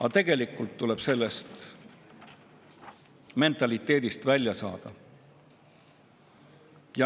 Aga tegelikult tuleb sellest mentaliteedist välja saada.